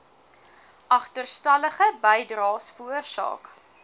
agterstallige bydraes veroorsaak